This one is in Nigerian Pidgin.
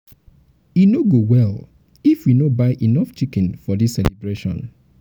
e no go go well if we no buy enough chicken for dis celebration.